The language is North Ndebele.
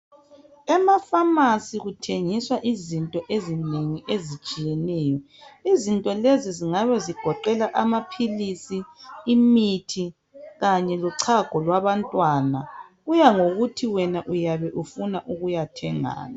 emafamasi kuthengiswa izinto ezinengi ezitshiyeneyo izinto lezi zingabe zigoqela amphilisi imithi kanye lochago lwabantwana kuya ngokuthi wena uyabe usiyathengani